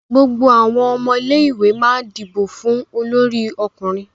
gbogbo awọn ọmọ ilé ìwé má dibo fún Olórí ọkùnrin.